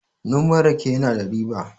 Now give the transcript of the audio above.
noman rake yana da riba